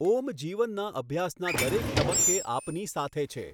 ઓમ જીવનના અભ્યાસના દરેક તબક્કે આપની સાથે છે.